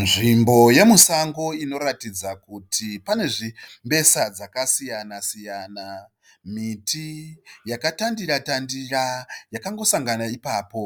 Nzvimbo yemusango inoratidza kuti pane zvimbesa zvakasiyana siyana. Miti yakatandira-tandira yakangosangana ipapo.